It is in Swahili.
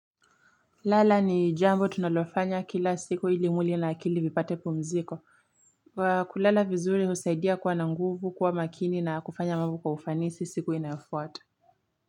Lala ni jambo tunolofanya kila siku ili mwili na akili vipate pumziko kwa kulala vizuri usaidia kuwa na nguvu kuwa makini na kufanya mabu kwa ufanisi siku inafuata.